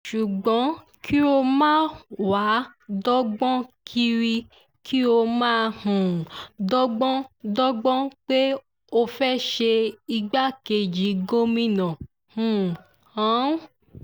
ṣùgbọ́n kí ó máa wáá dọ́gbọ́n kiri kí ó máa um dọ́gbọ́n dọ́gbọ́n pé ó fẹ́ẹ́ ṣe igbákejì gómìnà um hunn